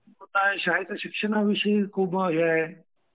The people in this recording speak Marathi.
शाळेतल्या शिक्षणाविषयी खूप हे आहे.